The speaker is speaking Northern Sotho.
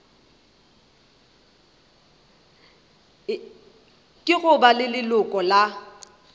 ke go ba leloko la